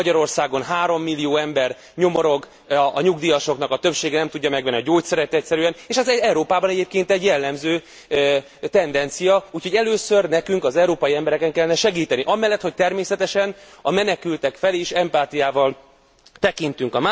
Magyarországon 3 millió ember nyomorog, a nyugdíjasoknak a többsége nem tudja megvenni a gyógyszerekeit, és ez Európában egyébként egy jellemző tendencia, úgyhogy először nekünk az európai embereken kellene segíteni, amellett, hogy természetesen a menekültek felé is empátiával tekintünk.